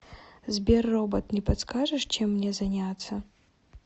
сбер робот не подскажешь чем мне заняться